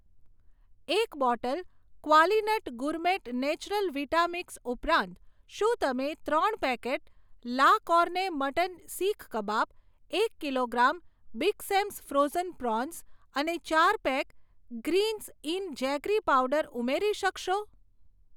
એક bottle Qualinut gourmet natural vita mix ઉપરાંત, શું તમે ત્રણ packet la carne mutton seekh kebab, એક kilogram big Sam's frozen prawns અને ચાર pack greens in jaggery powder ઉમેરી શકશો?